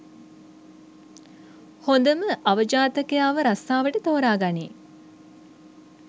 හොඳම අවජාතකයාව රස්සාවට තෝරාගනියි.